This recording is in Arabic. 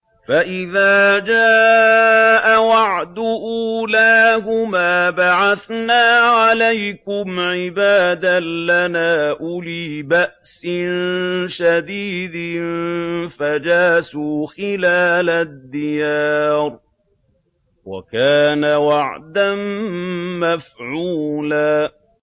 فَإِذَا جَاءَ وَعْدُ أُولَاهُمَا بَعَثْنَا عَلَيْكُمْ عِبَادًا لَّنَا أُولِي بَأْسٍ شَدِيدٍ فَجَاسُوا خِلَالَ الدِّيَارِ ۚ وَكَانَ وَعْدًا مَّفْعُولًا